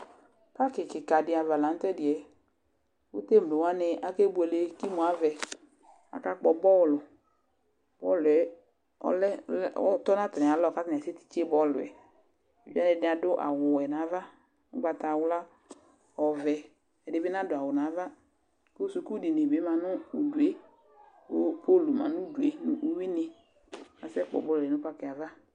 Tsɔtsɩ kɩka dɩava la nʊtɛdiyɛ, ku temlowanɩ akebʊele kemʊavɛ Aka kpɔ bɔlʊ Bɔlʊɛ ɔtɔ natamɩalɔ katanɩ akatɩtse bɔluyɛ Ɛdɩnɩ adʊ awʊ wɛ nava, ʊgbatawla, ɔvɛ Ɛdibi nadʊawu nava Kʊ sʊkʊ dɩnɩ bi ma nʊdʊe ku pul ma nuglɩe nuwuni kasɛ kpɔ bɔlʊyɛ nayava